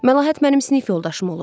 Məlahət mənim sinif yoldaşım olub.